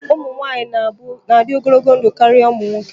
Ụmụ nwanyị na-adị ogologo ndụ karịa ụmụ nwoke